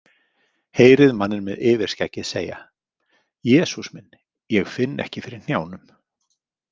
Heyrið manninn með yfirskeggið segja: Jesús minn, ég finn ekki fyrir hnjánum.